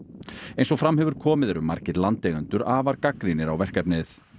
eins og fram hefur komið eru margir landeigendur afar gagnrýnir á verkefnið